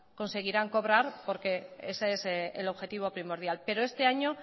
conseguirán cobrar porque ese es el objetivo primordial pero este año